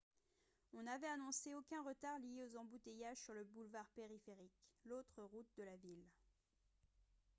on avait annoncé aucun retard lié aux embouteillages sur le boulevard périphérique l'autre route de la ville